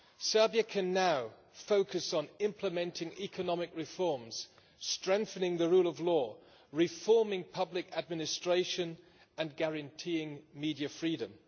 Serbia can now focus on implementing economic reforms, strengthening the rule of law, reforming public administration and guaranteeing media freedom.